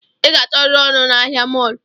I ga achọriri ọrụ na ahịa mọlụ